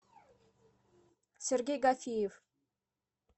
сергей гафиев